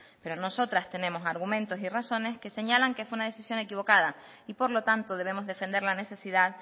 pero nosotras tenemos argumentos y razones que señalan que fue una decisión equivocada y por lo tanto debemos defender la necesidad